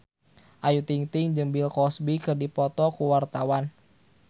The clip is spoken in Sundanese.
Ayu Ting-ting jeung Bill Cosby keur dipoto ku wartawan